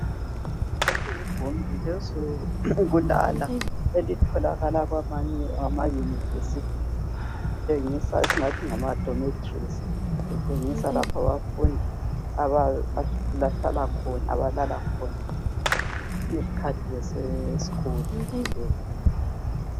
Leli ligumbi lezokulala elitholakala kwamanye amayunivesithi esingathi ngamadometries. Litshengisa lapho abafundi abalala khona .